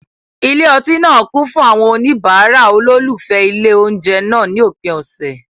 Ilé ọtí náà kún fún àwọn oníbàárà olólùfẹ́ ilé oúnjẹ náà ní òpin ọ̀sẹ̀.